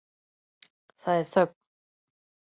Það er þögn.